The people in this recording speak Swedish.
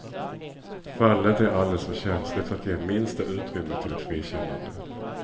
Fallet är alldeles för känsligt för att ge minsta utrymme till ett frikännande.